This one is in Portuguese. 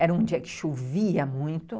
Era um dia que chovia muito.